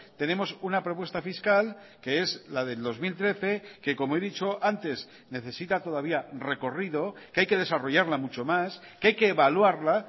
tenemos una propuesta fiscal que es la del dos mil trece que como he dicho antes necesita todavía recorrido que hay que desarrollarla mucho más que hay que evaluarla